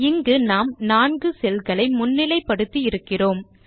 இங்கு நாம் 4 செல் களை முன்னிலை படுத்தி இருக்கிறோம்